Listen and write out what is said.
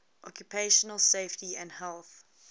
occupational safety and health